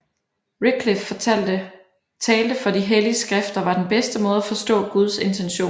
Wycliffe talte for de hellige skrifter var den bedste måde at forstå Guds intentioner